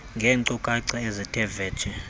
ngeenkcukacha ezithe vetshe